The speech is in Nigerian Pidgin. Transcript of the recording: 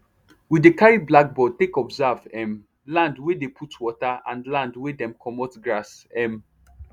we dey carry blackboard take observe um land wey dey put water and land wey dem commot grass um